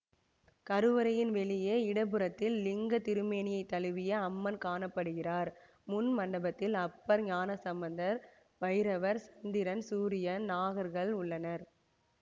கருவறையின் வெளியே இடப்புறத்தில் லிங்கத்திருமேனியை தழுவிய அம்மன் காண படுகிறார் முன்மண்டபத்தில் அப்பர் ஞானசம்பந்தர் பைரவர் சந்திரன் சூரியன் நாகர்கள் உள்ளனர்